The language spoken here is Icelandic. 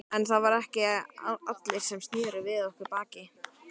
En það voru ekki allir sem sneru við okkur baki.